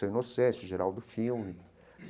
Seu Inocêncio, Geraldo Filme.